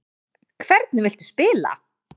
Hvernig viltu spila?